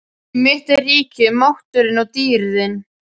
Því mitt er ríkið, mátturinn og dýrðin.